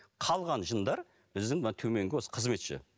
қалған жындар біздің мына төменгі осы қызметші